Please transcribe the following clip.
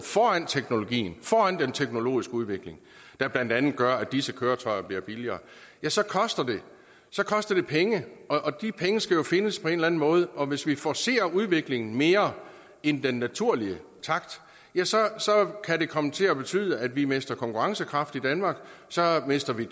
foran den teknologiske udvikling der blandt andet gør at disse køretøjer bliver billigere så koster så koster det penge og de penge skal jo findes på en eller en måde og hvis vi forcerer udviklingen mere end den naturlige takt kan det komme til at betyde at vi mister konkurrencekraft i danmark og så mister vi